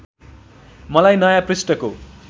मलाई नयाँ पृष्ठको